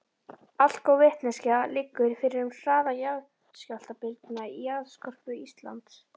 Allgóð vitneskja liggur fyrir um hraða jarðskjálftabylgna í jarðskorpu Íslands.